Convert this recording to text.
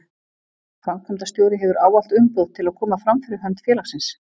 Framkvæmdastjóri hefur ávallt umboð til að koma fram fyrir hönd félagsins.